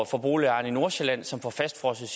for boligejerne i nordsjælland som får fastfrosset